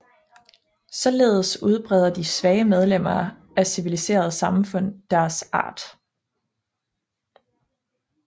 Således udbreder de svage medlemmer af civiliserede samfund deres art